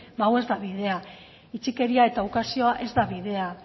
ba hau ez da bidea itxikeria eta ukazioa ez da bidea